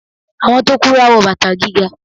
Àwọn tó kúrú a wọ bàtà gíga.